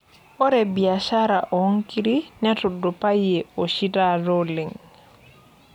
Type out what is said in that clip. Ore biashara oonkiri netudupayie oshi taata oleng.